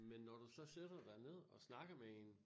Men når du så sætter dig ned og snakker med en